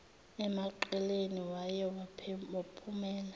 emaqeleni waye waphumela